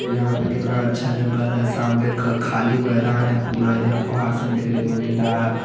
यहाँ पे कितना अच्छा जंगल है सामने का खाली मैदान है पूरा इधर पहाड़ सब देखने को मिल रहा है।